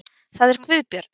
Það er Guðbjörn.